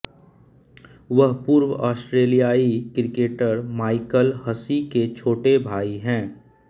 वह पूर्व ऑस्ट्रेलियाई क्रिकेटर माइकल हसी के छोटे भाई हैं